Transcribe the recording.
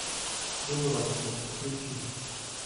дубровский включи